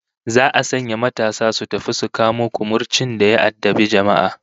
Za'a sanya matasa su tafi su kamo kumurcin da ya addabi jama'a